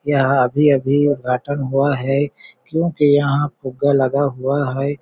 यह अभी-अभी उद्घाटन हुआ है क्योंकि यहाँ फुग्गा लगा हुआ है।